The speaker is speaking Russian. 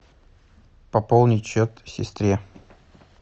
пополнить счет сестре